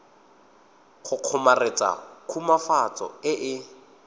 go kgomaretsa khutswafatso e e